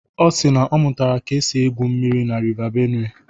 Ọ si na ọ mụtara ka e si egwu mmiri na River Benue.